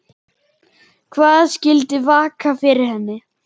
Hvað skyldi vaka fyrir henni?